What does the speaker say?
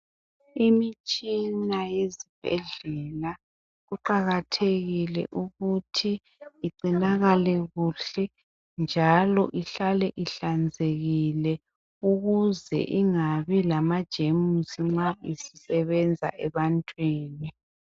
Imtshina yezibhedlela kuqakathekile igcinakale kuhle njalo ihlale ihlanzekile ukuze ingabi lamajemusi nxa isisebenza ebantwini.